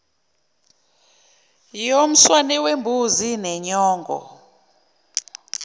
yomswane wembuzi nenyongo